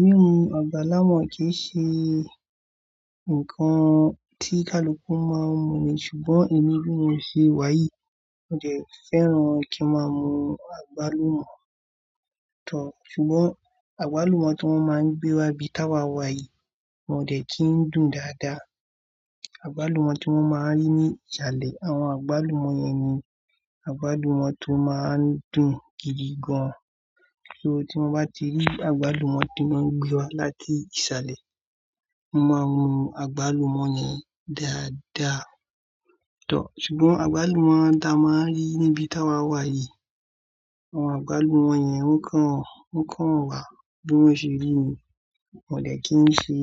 Mímu, àgbálùmọ́ kì í ṣe ǹkan tí kaluku máa ń mu ni, ṣùgbọ́n ẹ̀mi bi mó ṣe wàyí, mi ò dẹ́ fẹ́ràn kí n máa mu àgbálùmọ́ tán. Ṣùgbọ́n àgbálùmọ́ tí wọ́n máa ń gbé wá ibi tá wa wà yìí, wọ́n ò dẹ́ kí ń dùn dáadáa. Àgbálùmọ́ tí mo máa ń rí ní ìsàlẹ̀, àwọn àgbálùmọ́ yẹn ni àgbálùmọ́ tó máa ń dùn gidi gan. So tí mo bá ti rí àgbálùmọ́ tí wọ́n gbé wá láti ìsàlẹ̀, mo máa n mu àgbálùmọ́ yi dáadáa toh. Ṣùgbọ́n àgbálùmọ́ ta máa ń rí níbi tá wa wà yìí, àwọn àgbálùmọ́ yẹn ó kan, ó kan wà bí wọ́n ṣe rí ni. Wọn ò dẹ́ kí ń ṣe